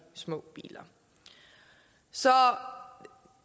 små biler så